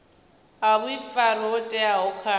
a vhuifari ho teaho kha